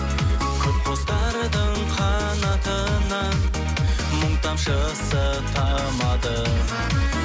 көп құстардың қанатынан мұң тамшысы тамады